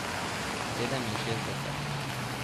Sedeminšestdeset.